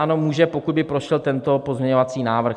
Ano, může, pokud by prošel tento pozměňovací návrh.